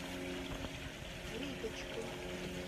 риточкой